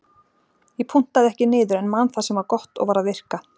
Ég punktaði ekki niður en man það sem var gott og var að virka.